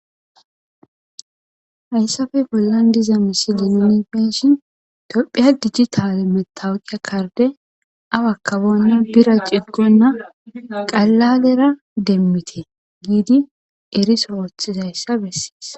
Hayssafe bollan diza misilien nuni be'shin tophiya dijjitale metawuqia karde awa kaboonna bira ciggonna qalladera demmite giidi eriso rooothiz hayssa bessees.